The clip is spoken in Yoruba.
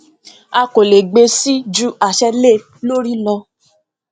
a kò le gbé síi ju àṣẹ lé lórí lọ